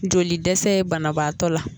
Joli dɛsɛ ye banabaatɔ la